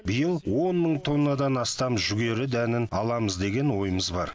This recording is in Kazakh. биыл он мың тоннадан астам жүгері дәнін аламыз деген ойымыз бар